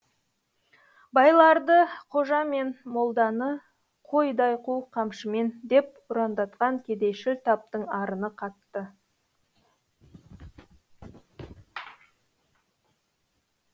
байларды қожа мен молданы қойдай қу қамшымен деп ұрандатқан кедейшіл таптың арыны қатты